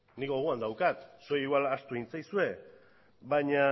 nik gogoan daukat zuei igual ahaztu egin zaizue